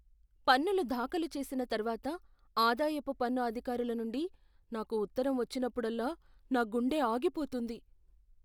పన్నులు దాఖలు చేసిన తర్వాత ఆదాయపు పన్ను అధికారుల నుండి నాకు ఉత్తరం వచ్చినప్పుడల్లా నా గుండె ఆగిపోతుంది.